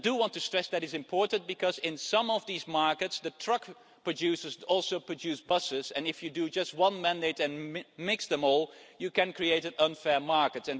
I want to stress that this is important because in some of these markets the truck producers also produce buses and, if you have just one mandate and mix them all, you can create an unfair market.